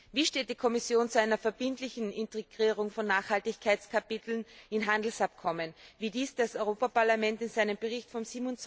Wie steht die Kommission zu einer verbindlichen Integrierung von Nachhaltigkeitskapiteln in Handelsabkommen, wie dies das Europaparlament in seinem Bericht vom